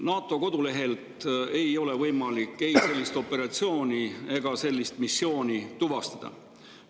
NATO kodulehelt ei ole võimalik sellist operatsiooni ega missiooni tuvastada.